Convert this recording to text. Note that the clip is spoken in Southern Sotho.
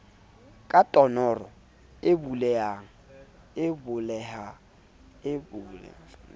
ka tonnoro e bulehelang ka